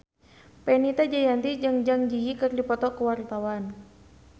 Fenita Jayanti jeung Zang Zi Yi keur dipoto ku wartawan